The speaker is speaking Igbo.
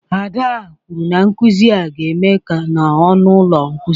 Ada kwuru na nkuzi a ga-eme na ọnụ ụlọ nkuzi.